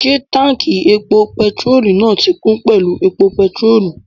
Ṣé táùnkì epo pẹtirólù náà ti kún pẹ̀lú epo pẹtirólù?